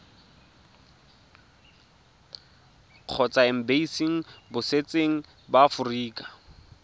kgotsa embasing botseteng ba aforika